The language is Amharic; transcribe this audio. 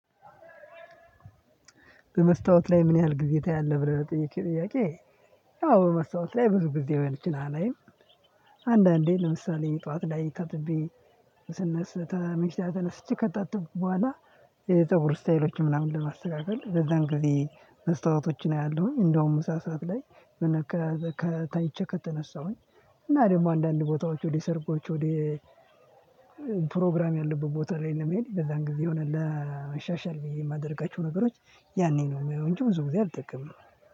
በመስታወት ላይ ምን ያህል ጊዜ ታያለህ ብለህ ለጠየቅከኝ ጥያቄ? አዎ በመስታወት ላይ ብዙ ጊዜ የሚችል አላይም። አንዳንዴ ለምሳሌ ጠዋት ላይ ታጥቤ ስነስ መቼ ተነስቼ ከጣጥኩ በኋላ። የፀቡር ስታይሎችን ምናምን ለማስተካከል ለዛን ጊዜ መስታወቶችን አያለሁኝ እንደውም ምሳ ሰዓት ላይ። ከተነሳሁኝ እና ደግሞ አንዳንድ ቦታዎች ወደ ሰርጎች ወደ ፕሮግራም ያለበት ቦታ ላይ ነው የሚሄደው። የዛን ጊዜ የሆነ ለመሻሻል ብዬ የማደርጋቸው ነገሮች ያኔ ነው እንጂ ብዙ ጊዜ አልጠቀምንም።